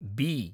B